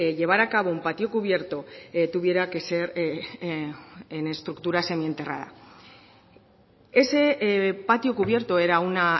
llevar a cabo un patio cubierto tuviera que ser en estructura semienterrada ese patio cubierto era una